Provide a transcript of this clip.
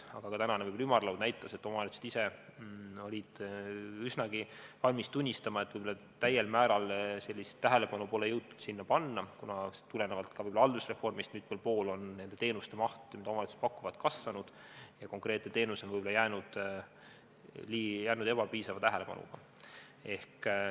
Aga ka tänane ümarlaud näitas, et omavalitsused ise olid üsnagi valmis tunnistama, et pole täiel määral tähelepanu jõutud sinna suunata, kuna tulenevalt ka võib-olla haldusreformist on mitmel pool nende teenuste maht, mida omavalitsused pakuvad, kasvanud ja konkreetne teenus on võib-olla jäänud piisava tähelepanuta.